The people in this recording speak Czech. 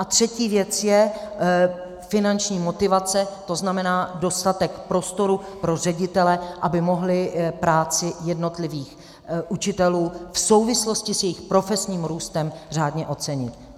A třetí věc je finanční motivace, to znamená dostatek prostoru pro ředitele, aby mohli práci jednotlivých učitelů v souvislosti s jejich profesním růstem řádně ocenit.